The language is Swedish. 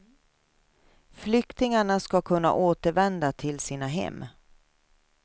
Flyktingarna ska kunna återvända till sina hem.